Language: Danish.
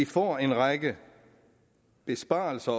får en række besparelser